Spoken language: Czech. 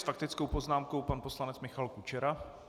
S faktickou poznámkou pan poslanec Michal Kučera.